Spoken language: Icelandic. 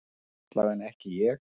Allavega ekki ég.